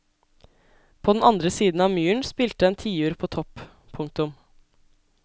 På den andre siden av myren spilte en tiur på topp. punktum